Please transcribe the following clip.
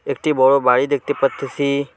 একটি বড় বাড়ি দেখতে পারতেসি।